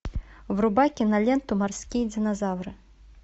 врубай киноленту морские динозавры